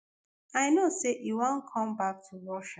i know say e wan come back to russia